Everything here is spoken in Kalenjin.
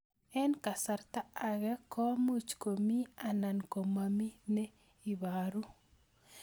Eng' kasarta ag'e ko much ko mii anan komamii ne ibaru